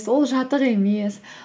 ол жатық емес